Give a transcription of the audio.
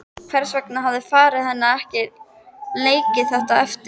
Hvers vegna hafði faðir hennar ekki leikið þetta eftir?